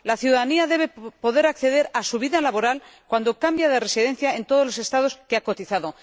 La ciudadanía debe poder acceder al historial de su vida laboral cuando cambie de residencia en todos los Estados donde ha cotizado.